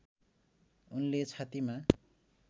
उनले छातीमा